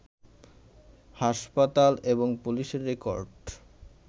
হাসপাতাল, এবং পুলিশের রেকর্ড